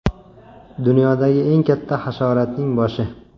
Dunyodagi eng katta hasharotning boshi.